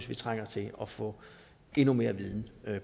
vi trænger til at få endnu mere viden